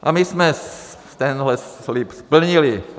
A my jsme tenhle slib splnili.